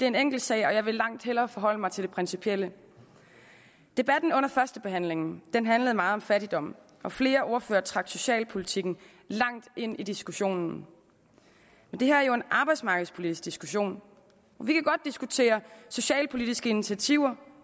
en enkeltsag og jeg vil langt hellere forholde mig til det principielle debatten under førstebehandlingen handlede meget om fattigdom og flere ordførere trak socialpolitikken langt ind i diskussionen men det her er jo en arbejdsmarkedspolitisk diskussion vi kan godt diskutere socialpolitiske initiativer